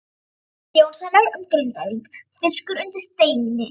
Jónssonar um Grindavík, Fiskur undir steini.